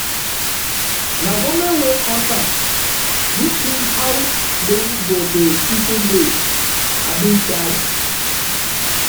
na government wey cause um dis thing how dem go dey people dey um die